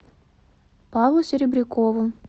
павлу серебрякову